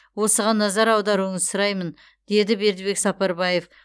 осыған назар аударуыңызды сұраймын деді бердібек сапарбаев